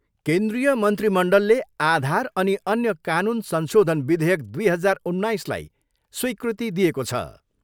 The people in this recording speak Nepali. केन्द्रीय मन्त्रीमण्डलले आधार अनि अन्य कानुन संशोधन विधेयक दुई हजार उन्नाइसलाई स्विकृति दिएको छ।